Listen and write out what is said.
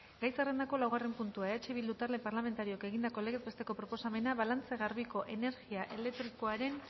gai zerrendako laugarren puntua eh bildu talde parlamentarioak egindako legez besteko proposamena balantze garbiko energia elektrikoaren